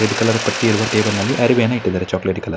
Red colour ಪಟ್ಟಿ ಇರುವ table ನಲ್ಲಿ ಅರವಿಯನ್ನ ಇಟ್ಟಿದ್ದಾರೆ ಚಾಕಲೇಟ್ ಕಲರ್ .